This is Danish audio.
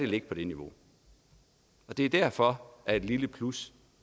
ligge på det niveau det er derfor at et lille plus